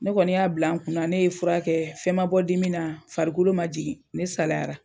Ne kɔni y'a bila n kun na ne ye furakɛ, fɛn ma bɔ dimina, farikolo ma jigin, ne salayara.